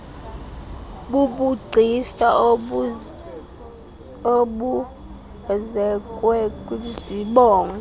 bubugcisa obuzekwe kwizibongo